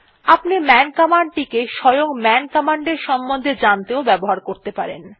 আপনি man command টিকে স্বয়ং মান কমান্ড এর সম্বন্ধে জানতেও ব্যবহার করতে পারেন